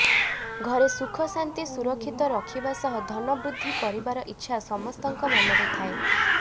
ଘରେ ସୁଖ ଶାନ୍ତି ସୁରକ୍ଷିତ ରଖିବା ସହ ଧନ ବୃଦ୍ଧି କରିବାର ଇଚ୍ଛା ସମସ୍ତଙ୍କ ମନରେ ଥାଏ